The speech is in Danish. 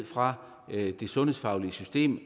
fra det sundhedsfaglige system